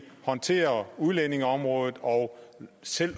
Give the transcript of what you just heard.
håndtere udlændingeområdet og selv